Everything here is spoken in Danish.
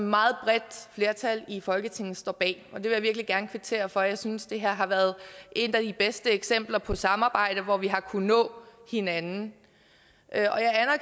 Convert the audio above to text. meget bredt flertal i folketinget står bag og det vil jeg virkelig gerne kvittere for jeg synes at det her har været et af de bedste eksempler på samarbejde hvor vi har kunnet nå hinanden